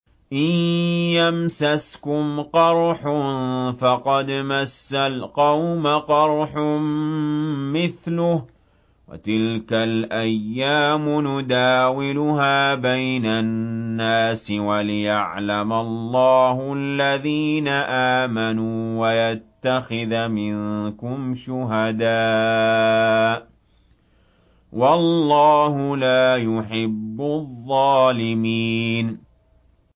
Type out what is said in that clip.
إِن يَمْسَسْكُمْ قَرْحٌ فَقَدْ مَسَّ الْقَوْمَ قَرْحٌ مِّثْلُهُ ۚ وَتِلْكَ الْأَيَّامُ نُدَاوِلُهَا بَيْنَ النَّاسِ وَلِيَعْلَمَ اللَّهُ الَّذِينَ آمَنُوا وَيَتَّخِذَ مِنكُمْ شُهَدَاءَ ۗ وَاللَّهُ لَا يُحِبُّ الظَّالِمِينَ